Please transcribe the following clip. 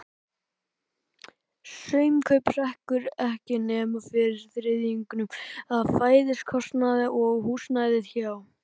Sumarkaupið hrekkur ekki nema fyrir þriðjungnum af fæðiskostnaði og húsnæði hjá